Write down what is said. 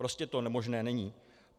Prostě to možné není.